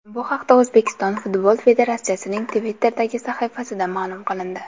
Bu haqda O‘zbekiston futbol federatsiyasining Twitter’dagi sahifasida ma’lum qilindi .